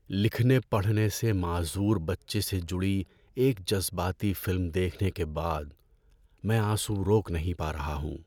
لکھنے پڑھنے سے معذور بچے سے جڑی ایک جذباتی فلم دیکھنے کے بعد میں آنسو روک نہیں پا رہا ہوں۔